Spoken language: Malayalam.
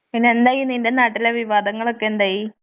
പിന്നെന്തായി നിന്റെ നാട്ടിലെ വിവാദങ്ങളൊക്കെ എന്തായി.